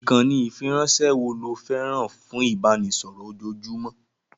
Ìkànnì ìfiránṣẹ́ wo lo fẹ́ràn fún ìbánisọ̀rọ̀ ojoojúmọ́?